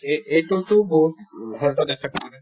এই ~ এইটোতো বহুত উম health ত affect কৰে